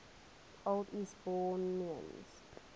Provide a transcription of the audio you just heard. old eastbournians